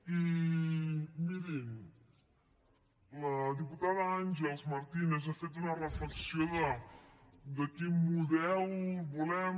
i mirin la diputada àngels martínez ha fet una reflexió de quin model volem